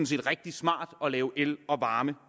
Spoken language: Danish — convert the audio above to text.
set rigtig smart at lave el og varme